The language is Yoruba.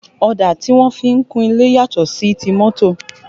Ọ̀dà tí wọ́n fi ń kun ilé yàtọ̀ sí ti mọ́tọ̀